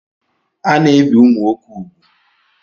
Ana-ebi ụmụ nwoke úgwù.